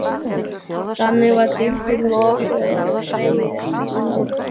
Þannig var síldin lokuð inni og dregin upp í land.